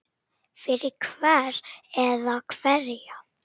Fyrir hvern eða hverja?